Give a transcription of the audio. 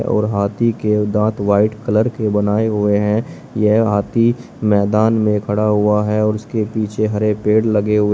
और हाथी के दांत व्हाइट कलर के बनाए हुए हैं यह हाथी मैदान में खड़ा हुआ है और उसके पीछे हरे पेड़ लगे हुए--